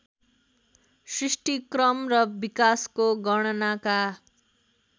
सृष्टिक्रम र विकासको गणनाका